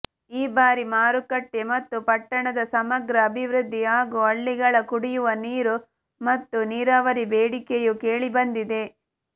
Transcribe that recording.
ಈ ಬಾರಿ ಮಾರುಕಟ್ಟೆ ಮತ್ತು ಪಟ್ಟಣದ ಸಮಗ್ರ ಅಭಿವೃದ್ಧಿ ಹಾಗೂ ಹಳ್ಳಿಗಳ ಕುಡಿಯುವ ನೀರು ಮತ್ತು ನೀರಾವರಿ ಬೇಡಿಕೆಯು ಕೇಳಿಬಂದಿದೆ